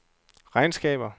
regnskaber